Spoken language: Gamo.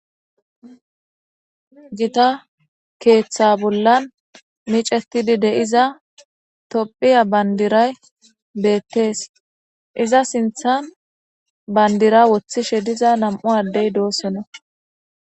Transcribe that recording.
Githa keththa bollan mic'ted de'eza Tophphiya banderay bettes iza sintha bandera wotshine de'za nam'u adde dossona.